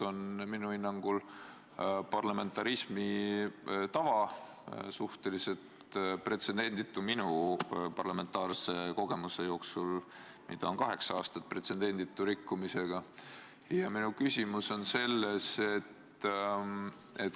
Minu hinnangul on tegemist parlamentarismi tava – mu enda parlamentaarne kogemus on kaheksa aastat – suhteliselt pretsedenditu rikkumisega.